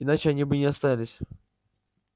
иначе они бы не остались